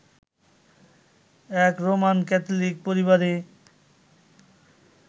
এক Roman Catholic পরিবারে